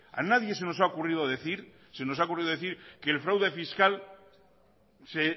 a nadie se nos ha ocurrido decir que el fraude fiscal se